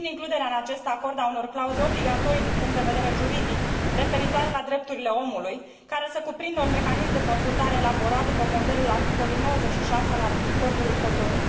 Susțin includerea în acest acord a unor clauze obligatorii din punct de vedere juridic, referitoare la drepturile omului, care să cuprindă un mecanism de consultare elaborat după modelul articolului 96 al Acordului Cotonou.